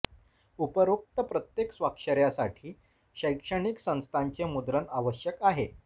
उपरोक्त प्रत्येक स्वाक्षर्यासाठी शैक्षणिक संस्थाचे मुद्रण आवश्यक आहे